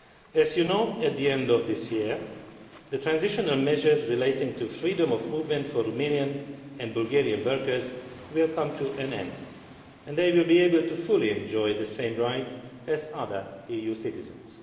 As you know, at the end of this year the transitional measures relating to freedom of movement for Romanian and Bulgarian workers will come to an end, and they will be able to fully enjoy the same rights as other EU citizens.